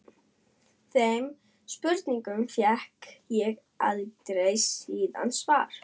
Þeim spurningum fékk ég aldrei síðan svarað.